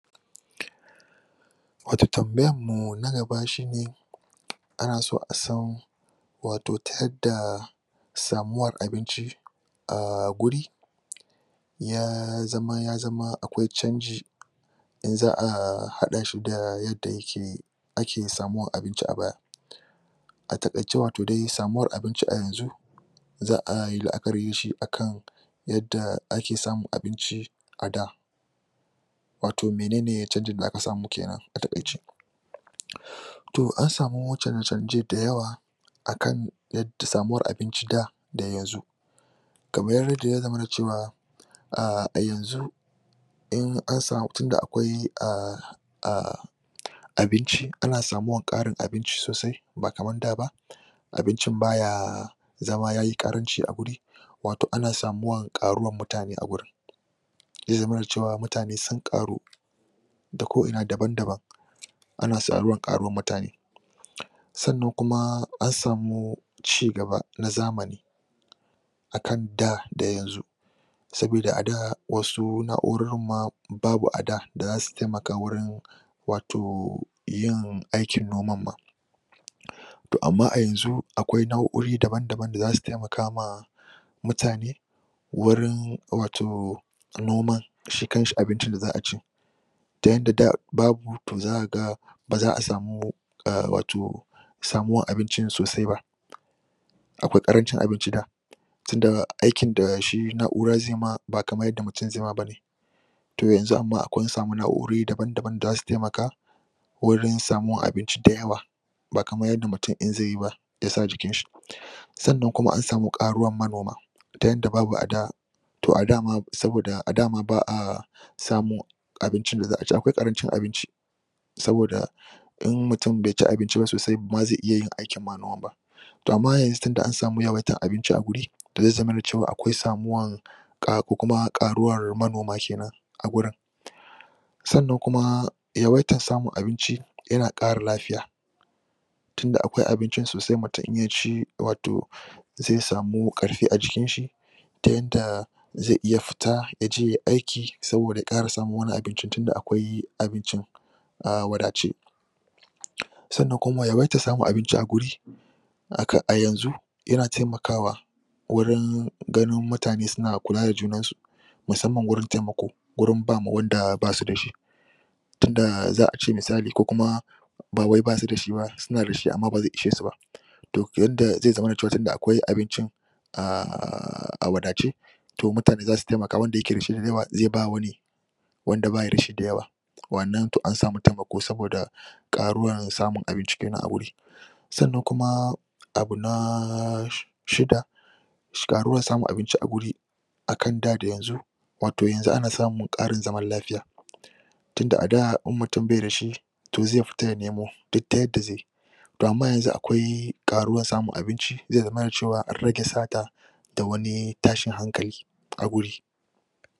Wato tanbayarmu na gaba shine, ana so asan wato ta yadda samuwar abinci a guri ya zama akwai cancji, da za'a haɗa shi da yadda yake ake samun abiunci a baya. A taƙaice wato dai samuwar abinci a yanzu za'a yi la'akari da shi akan yadda ake samun abinci a da. Wato menene canjin da aka samu kenan a taƙaice. To an samu canje-canje da yawa, akan yadda samuwar abinci a da, da yanzu kamar ydda ya zamana da cewa ahh a yanzu, tunda akwai ahhh ahh abinci, ana samuwar ƙarin abinci sosai ba kaman da ba, abincin baya zama yayi karanci a guri, wato ana samuwan ƙaruwar murtane a gurin. Zai zamana da cewa mutane sun ƙaru, da ko'ina daban-daban, ana samun ƙaruwar mutane, Sannan kuma an samu, ci gaba na zamani, akan da da yanzu, sabida ada, wasu na'urorin ma babu a da, da za su taimka wurin wato, yin aikin noman ma. To amma a yanzu akwai na'urori daban-daban d za su taimaka taimka ma mutane, wurin wato, noman shi kan shi abincin da za'a ci, ta yadda da babu, to zaka ga baza a samu a wato samuwar abinin sosai ba. Akwai ƙarancin abinci da, tunda aikin da shi na'ura zai ma ba kamar yadda mutum zai ma bane. To yanzu amma akwai, an samu na'uorori dabam-dabam da za su taimaka wurin samun abinci da yawa bakamar yadda mutum in zai yi ba ya sa jikin shi. Sannan kuma an samu ƙaruwar manoma, ta yadda babu a da, to a da ma, ba'a samun abincin da za'a ci, akwai ƙarancin abinci saboda in mutum bai ci abinci ba sosai bama zai iya yin aikin ma noman ba. To amma yanzu tundan samu yawaitar abinci a guri, to zai zamana cewa akwai samuwan ko kuma ƙaruwar manoma kenan a gurin. Sannan kuma, yawaitar samun abinci, yana ƙara lafiya, tunda akwai abincin sosai mutum in ya ci wato za samu ƙarfi a jikin shi, ta yanda zai iya fita ya je yai aiki saboda ya ƙara samun wani abincin tunda akwai abincin a wadace. Sannan kuma, yawaitar samun abinci a guri, a yanzu, yana taimakawa gurin ganin mutane suna kula da junansu musamman gurin taimako gurin ba ma wanda ba su da shi. Tun da za'a ce misali, ko kuma ba wai ba su da shi suna da shi amma ba zai ishe su ba. To yanda zai zamana cewa tunda akwai abincin aahhh a wadace to mutane za su taimaka wanda yake da shi zai ba wani wanda ba shi da shi da yawa. Wannan to an samu taimako saboda ƙaruwar samun abinci kenanan a wuri. Sannan kuma, abu naaaaaa shida, Varuwar samun abinci a guri akan da, da yanzu wanto yanzu ana ƙara samun zaman lafiya tunda a da, in mutum bai da shi, to zai fita ya nemo duk ta yadda zai yi to amma yanzu akwai ƙaruwar samun abinci zai zamana cewa an rage sata, da wani tashin hankali a guri.